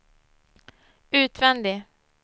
utvändig